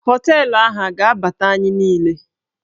Họteelụ ahụ a ga-abata anyị niile?